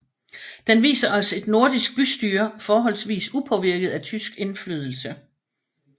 Den viser os et nordisk bystyre forholdsvist upåvirket af tysk indflydelse